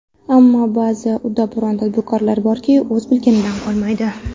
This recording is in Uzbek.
Ammo ba’zi ‘uddaburon’ tadbirkorlar borki, o‘z bilganidan qolmaydi.